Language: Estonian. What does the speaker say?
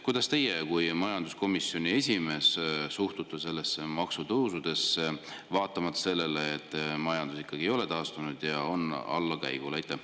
Kuidas teie kui majanduskomisjoni esimees suhtute maksutõusudesse, mida tehakse vaatamata sellele, et majandus ei ole taastunud ja on allakäigul?